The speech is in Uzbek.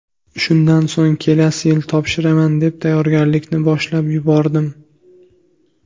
Shundan so‘ng kelasi yil topshiraman deb, tayyorgarlikni boshlab yubordim.